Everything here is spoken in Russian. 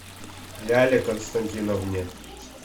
ляле константиновне